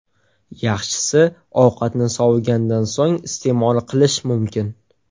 Yaxshisi, ovqatni sovigandan so‘ng iste’mol qilish mumkin.